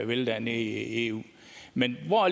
vil dernede i eu men hvor